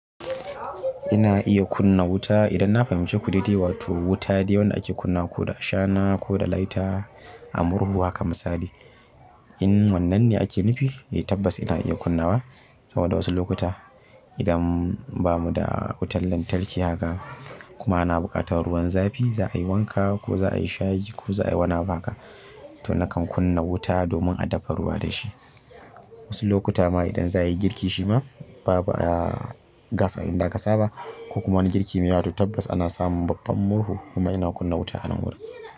Ina iya kunna wuta idan na fahimci kudidi wato wuta dai wanda ake kunna ko da shana ko da laita a murhu haka misali. In wannan ne ake nufi, eh tabbas ina iya kunnawa. Saboda wasu lokuta idan bamu da wutar lantarki haka kuma ana buƙatar ruwan zafi za'a yi wanka ko za'a yi shayi ko za'a yi wani abu haka to nakan kunna wuta domin a dafa ruwa da shi. Wasu lokuta ma idan za'a yi girki shima babu gas a inda aka saba ko kuma wani girki ne wato tabbas ana samun babban murhu kuma ina kunna wuta a nan wurin.